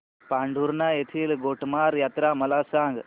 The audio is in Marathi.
पांढुर्णा येथील गोटमार यात्रा मला सांग